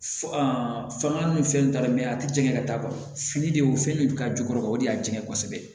fanga ni fɛn tala a tɛ jɛngɛ ka taa ban fini de y'o fɛn de k'a jukɔrɔ o de y'a jɛngɛ kosɛbɛ